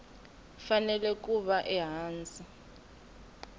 fanele ku va ehansi ka